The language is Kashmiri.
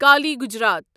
کالی گجرات